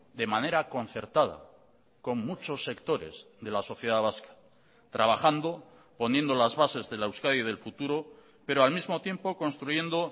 de manera concertada con muchos sectores de la sociedad vasca trabajando poniendo las bases de la euskadi del futuro pero al mismo tiempo construyendo